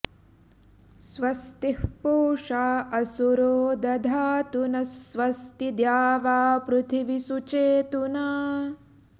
स्वस्ति पूषा असुरो दधातु नः स्वस्ति द्यावापृथिवी सुचेतुना